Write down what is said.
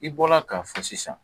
I bɔra k'a fɔ sisan.